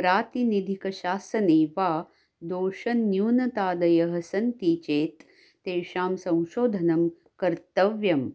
प्रातिनिधिकशासने वा दोषन्यूनतादयः सन्ति चेत् तेषां संशोधनं कर्त्तव्यम्